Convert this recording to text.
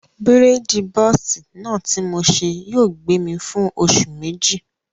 Bírèèdì bọ́ọ̀sì náà ti mo ṣe yóò gbé mi fún oṣù méjì